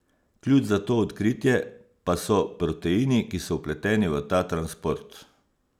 Ključ za to odkritje pa so proteini, ki so vpleteni v ta transport.